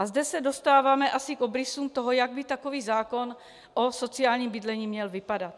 A zde se dostáváme asi k obrysům toho, jak by takový zákon o sociálním bydlení měl vypadat.